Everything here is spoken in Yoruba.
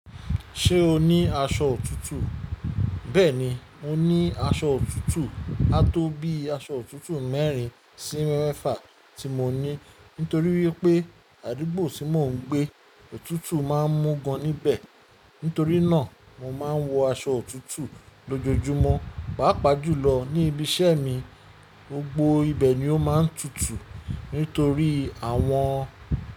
Ṣé o ní aṣọ òtútù? Bẹ́ẹ̀ni, mo ní aṣọ òtútù. A tó bí aṣọ òtútù mẹ́rin sí mẹ́fà tí mo ní. Nítorí wípé àdúgbò tí mò ń gbé, òtútù má ń mú gan níbẹ̀. Nítorí náà, mo má ń wọ aṣọ òtútù lójoojúmọ́. Pàápàá jùlọ ní ibi iṣẹ́ mi, gbogbo ibẹ̀ ni ó má ń tutù. Nítorí àwọn.